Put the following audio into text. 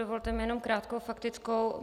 Dovolte mi jenom krátkou faktickou.